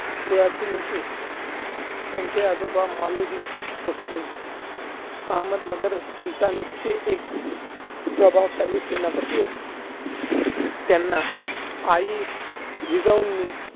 कुळातील होते. त्यांचे आजोबा मालोजी भोसले अहमदनगर सुलतानचे एक प्रभावशाली सेनापती होते. त्यांना आई जिजाऊंनी